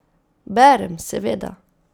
Berem, seveda.